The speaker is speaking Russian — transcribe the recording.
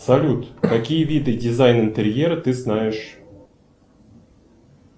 салют какие виды дизайна интерьера ты знаешь